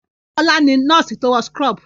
Bọ́lá ni nọ́ọ́sì tó wọ súkúrọ́bù.